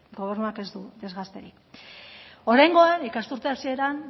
oraingoan ikasturte hasieran